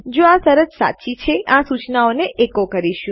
જો આ શરત સાચી છે તો અમે આ સુચનાને એકો કરીશું